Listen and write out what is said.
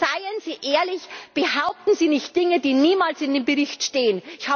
Und seien Sie ehrlich, behaupten Sie nicht Dinge, die niemals in dem Bericht stehen!